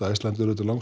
Icelandair er